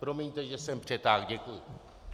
Promiňte, že jsem přetáhl, děkuji.